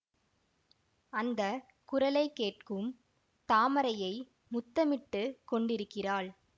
அந்த குரலை கேட்டும் தாமரையை முத்தமிட்டுக் கொண்டிருக்கிறாள்